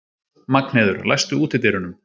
Magnheiður, læstu útidyrunum.